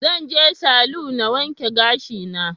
Zan je salu na wanke gashi na